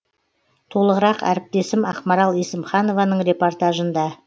толығырақ әріптесім ақмарал есімханованың репортажында